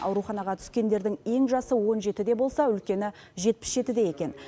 ауруханаға түскендердің ең жасы он жетіде болса үлкені жетпіс жетіде екен